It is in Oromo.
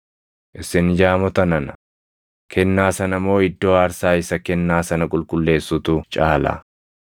Isin jaamota nana, kennaa sana moo iddoo aarsaa isa kennaa sana qulqulleessutu caala?